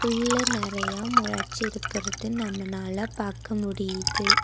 புல்லு நெறையா மொளச்சு இருக்குறது நம்ம நால பாக்க முடியிது.